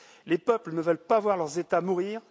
Les peuples ne veulent pas voir leurs États mourir.